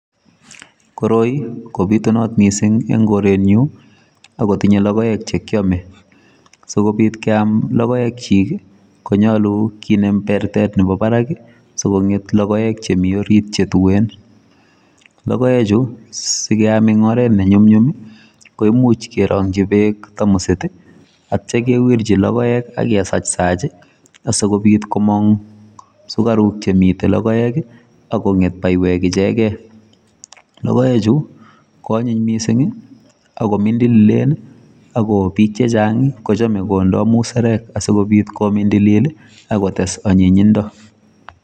koroi kobutunat miising' ing'koretnyu akotinye logoek chekiame. sikobiit keam logoek chiik konyolu kinem pertet nebo barak sikong'et logoek chemi orit chetuen. logoekchu sikeam ing' oret nenyumnyum koimuch kerang'chi peek tamusit atcha kewirchi logoek akesachsach asikobiit komong' sukaruk chemite logoek akong'et baiwek ichegei. logoechu koanyiny miising' akomindililen akobiik chechang' kochame kondai musarek sikobiit komindilil akotes anyinyindo.